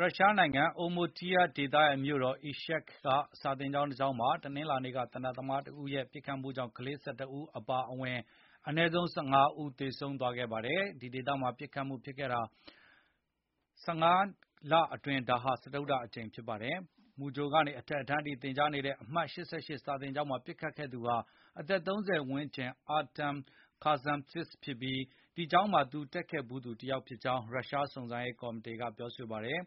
ရုရှားနိုင်ငံ Udmurtia ဒေသရဲ့ မြို့တော် Izhevsk က စာသင်ကျောင်းမှာ တနင်္လာနေ့က သေနတ်သမားတဦးရဲ့ ပစ်ခတ်မှုကြောင့် ကလေး ၁၁ ဦးအပါအဝင် အနည်းဆုံး ၁၅ ဦး သေဆုံးသွားခဲ့ပါတယ်။ ဒီဒေသမှာ ပစ်ခတ်မှုဖြစ်ခဲ့တာ ၁၅ လအတွင်း ဒါဟာ စတုတ္တအကြိမ် ဖြစ်ပါတယ်။ မူကြိုကနေ အထက်တန်းအထိ သင်ကြားနေတဲ့ အမှတ် ၈၈ စာသင်ကျောင်းမှာ ပစ်ခတ်ခဲ့သူဟာ အသက် ၃၀ ဝန်းကျင် Artem Kazantesev ဖြစ်ပြီး၊ ဒီကျောင်းမှာ တက်ခဲ့ဖူးသူ တယောက်ဖြစ်ကြောင်း ရုရှား စုံစမ်းရေး ကော်မီတီက ပြောပါတယ်။